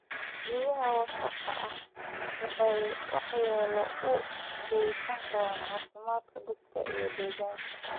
Biyaha wasakhda ah waxay waxyeello u geysan karaan caafimaadka dadka iyo deegaanka.